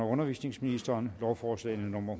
undervisningsministeren lovforslag nummer